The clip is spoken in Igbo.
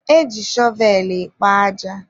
e ji shọvelụ ekpo aja.